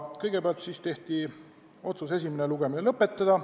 Kõigepealt langetati otsus esimene lugemine lõpetada.